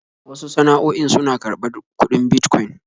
Wasu sana'o'in suna karɓar kudin Bitcoin